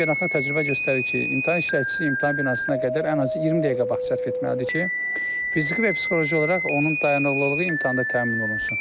Beynəlxalq təcrübə göstərir ki, imtahan iştirakçısı imtahan binasına qədər ən azı 20 dəqiqə vaxt sərf etməlidir ki, fiziki və psixoloji olaraq onun dayanıqlılığı imtahanda təmin olunsun.